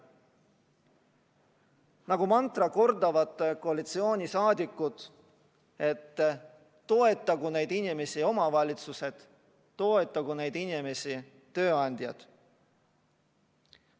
Nagu mantrat kordavad koalitsioonisaadikud, et toetagu neid inimesi omavalitsused, toetagu neid inimesi tööandjad.